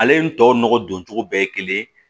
Ale nin tɔw nɔgɔ don cogo bɛɛ ye kelen